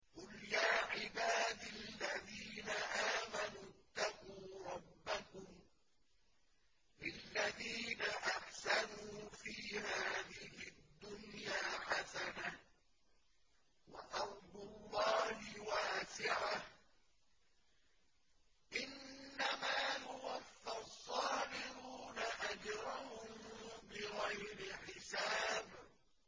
قُلْ يَا عِبَادِ الَّذِينَ آمَنُوا اتَّقُوا رَبَّكُمْ ۚ لِلَّذِينَ أَحْسَنُوا فِي هَٰذِهِ الدُّنْيَا حَسَنَةٌ ۗ وَأَرْضُ اللَّهِ وَاسِعَةٌ ۗ إِنَّمَا يُوَفَّى الصَّابِرُونَ أَجْرَهُم بِغَيْرِ حِسَابٍ